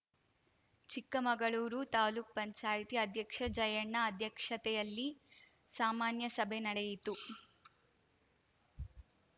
ಚಿಕ್ಕಮಗಳೂರು ತಾಲೂಕ್ ಪಂಚಾಯ್ತಿ ಸಭಾಂಗಣದಲ್ಲಿ ಅಧ್ಯಕ್ಷ ಜಯಣ್ಣ ಅಧ್ಯಕ್ಷತೆಯಲ್ಲಿ ಸಾಮಾನ್ಯಸಭೆ ನಡೆಯಿತು